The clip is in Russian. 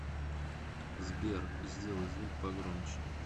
сбер сделай звук погромче